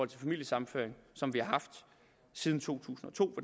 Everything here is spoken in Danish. til familiesammenføring som vi har haft siden to tusind og to